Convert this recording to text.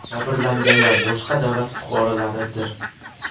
Jabrlanganlar boshqa davlat fuqarolaridir.